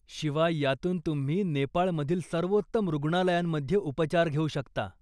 शिवाय, यातून तुम्ही नेपाळमधील सर्वोत्तम रुग्णालयांमध्ये उपचार घेऊ शकता.